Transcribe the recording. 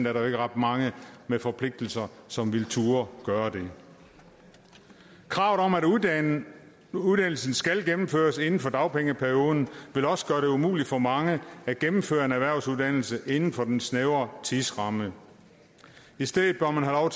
er der jo ikke ret mange med forpligtelser som ville turde gøre det kravet om at uddannelsen skal gennemføres inden for dagpengeperioden vil også gøre det umuligt for mange at gennemføre en erhvervsuddannelse inden for den snævre tidsramme i stedet bør man have